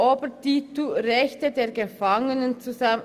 Ich fasse sie unter dem Titel «Rechte der Gefangenen» zusammen.